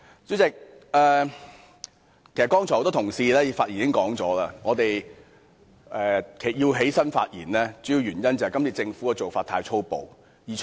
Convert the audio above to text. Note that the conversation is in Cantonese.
主席，很多同事剛才已經指出，我們站起來發言，主要是因為政府今次的做法太粗暴。